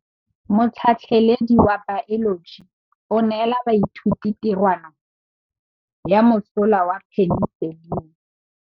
Motlhatlhaledi wa baeloji o neela baithuti tirwana ya mosola wa peniselene.